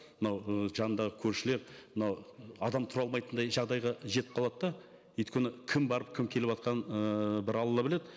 мынау ы жанындағы көршілер мынау адам тұра алмайтындай жағдайға жетіп қалады да өйткені кім барып кім келіватқанын ыыы бір алла біледі